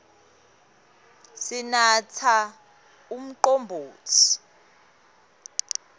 sinatsa umcombotsi